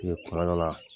kuma dɔ la